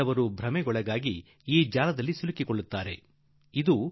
ಕೆಲವರು ಮರುಳಾಗಿ ರೂಪಾಯಿ ಮೋಸಕ್ಕೆ ಬಿದ್ದು ಬಲೆಗೆ ಬೀಳುವರು